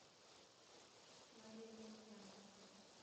мария емельянова